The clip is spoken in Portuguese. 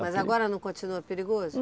Mas agora não continua perigoso?